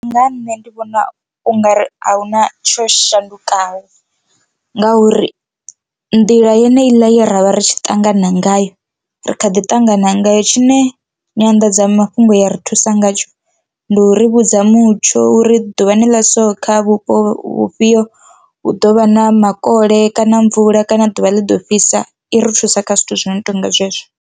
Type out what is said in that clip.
Nga ha nṋe ndi vhona ungari ahuna tsho shandukaho ngauri nḓila yeneiḽa ye ravha ri tshi ṱangana ngayo ri kha ḓi tangana ngayo. Tshine nyanḓadzamafhungo ya ri thusa ngatsho ndi u ri vhudza mutsho uri ḓuvha ni ḽa so kha vhupo vhufhio hu ḓovha na makole kana mvula kana ḓuvha ḽiḓo fhisa i ri thusa kha zwithu zwino tonga zwezwo.